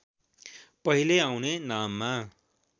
पहिले आउने नाममा